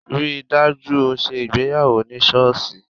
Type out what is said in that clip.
Rí i dájú o ṣe ìgbéyàwó ní sọ́ọ̀ṣì!